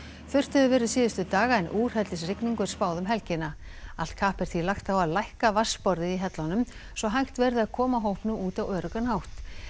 þurrt hefur verið síðustu daga en úrhellisrigningu er spáð um helgina allt kapp er því lagt á að lækka vatnsborðið í hellunum svo hægt verði að koma hópnum út á öruggan hátt